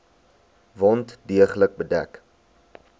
wond deeglik bedek